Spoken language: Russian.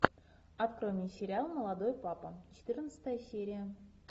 открой мне сериал молодой папа четырнадцатая серия